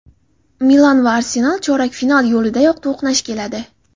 "Milan" va "Arsenal" chorak final yo‘lidayoq to‘qnash keladi.